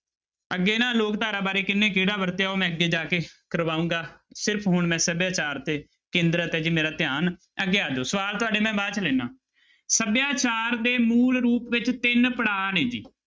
ਅੱਗੇ ਨਾ ਲੋਕ ਧਾਰਾ ਬਾਰੇ ਕਿਹਨੇ ਕਿਹੜਾ ਵਰਤਿਆ ਉਹ ਮੈਂ ਅੱਗੇ ਜਾ ਕੇ ਕਰਵਾਊਂਗਾ, ਸਿਰਫ਼ ਹੁਣ ਮੈਂ ਸਭਿਆਚਾਰ ਤੇ ਕੇਂਦਰਤ ਹੈ ਜੀ ਮੇਰਾ ਧਿਆਨ, ਅੱਗੇ ਆ ਜਾਓ ਸਵਾਲ ਤੁਹਾਡੇ ਮੈਂ ਬਾਅਦ 'ਚ ਲੈਨਾ, ਸਭਿਆਚਾਰ ਦੇ ਮੂਲ ਰੂਪ ਵਿੱਚ ਤਿੰਨ ਪੜ੍ਹਾਅ ਨੇ ਜੀ।